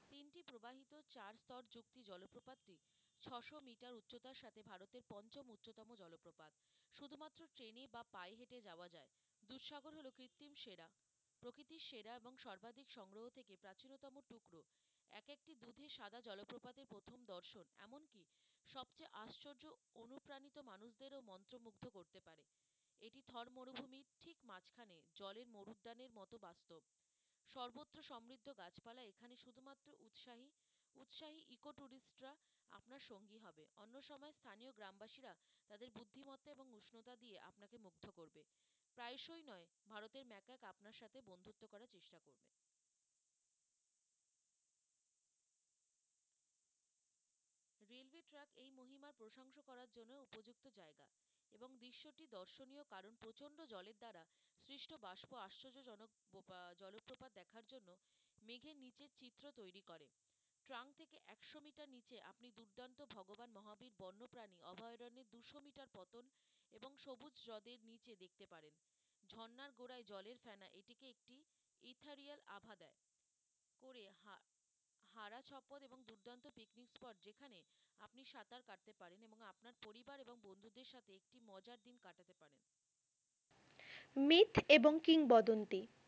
myth এবং কিংবদন্তি,